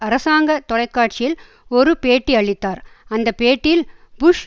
அரசாங்க தொலைக்காட்சியில் ஒரு பேட்டியளித்தார் அந்த பேட்டியில் புஷ்